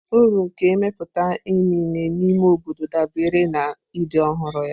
Uru nke imepụta inine n'ime obodo dabere na ịdị ọhụrụ ya.